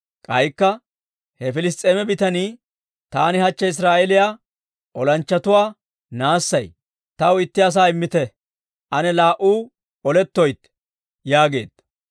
K'aykka he Piliss's'eeme bitanii, «Taani hachche Israa'eeliyaa olanchchatuwaa naassay; taw itti asaa immite; ane laa"u oletteetto!» yaageedda.